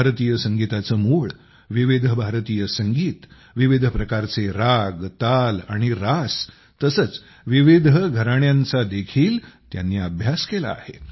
भारतीय संगीताचे मूळ विविध भारतीय संगीत विविध प्रकारचे राग ताल आणि रस तसेच विविध घराण्यांचा देखील त्यांनी अभ्यास केला आहे